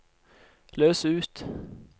løs ut